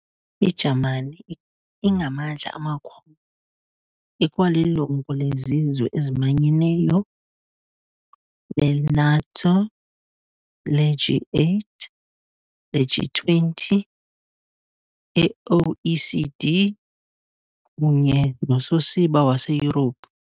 I-Jamani ingamandla amakhulu, ikwalilungu leziZwe eziManyeneyo, le-NATO, le-G8, le-G20, e-OECD kunye nososiba waseYurophu.